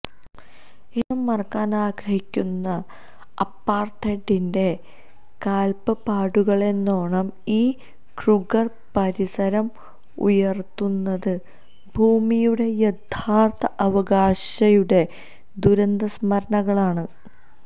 എന്നും മറക്കാനാഗ്രഹിക്കുന്ന അപ്പാര്ത്തൈഡിന്റെ കാല്പ്പാടുകളെന്നോണം ഈ ക്രൂഗര് പരിസരം ഉയര്ത്തുന്നത് ഭൂമിയുടെ യഥാര്ത്ഥ അവകാശിയുടെ ദുരന്തസ്മരണകളാണ്